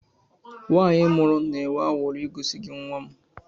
Nwanyi mụrụ na-enwe aṅụri igosi gị nwam